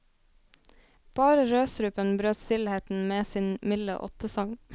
Bare rødstrupen brøt stillheten med sin milde ottesang.